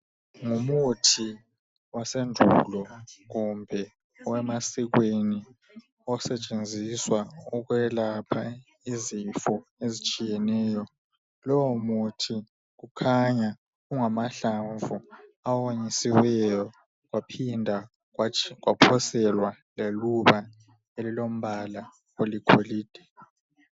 Ngumuthi wesiNtu osetshenziswa ukwelapha izifo ezitshiyeneyo. Lowomuthi ungamahlamvu awonyisiweyo kwaphinda kwaphoselwa leluba eliligolide